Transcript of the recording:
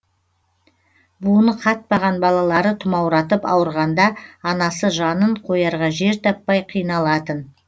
буыны қатпаған балалары тұмауратып ауырғанда анасы жанын қоярға жер таппай қиналатын